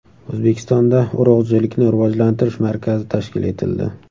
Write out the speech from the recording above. O‘zbekistonda Urug‘chilikni rivojlantirish markazi tashkil etildi.